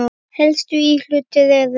Helstu íhlutir eru